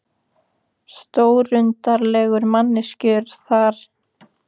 Stórundarlegar manneskjur, þær mamma og Júlía.